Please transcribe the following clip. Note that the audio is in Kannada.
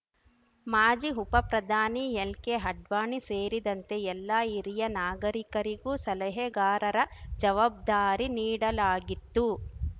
ಮಾಜಿ ಉಪಪ್ರಧಾನಿ ಎಲ್ಕೆ ಅಡ್ವಾಣಿ ಸೇರಿದಂತೆ ಎಲ್ಲ ಹಿರಿಯ ನಾಯಕರಿಗೂ ಸಲಹೆಗಾರರ ಜವಾಬ್ದಾರಿ ನೀಡಲಾಗಿತ್ತು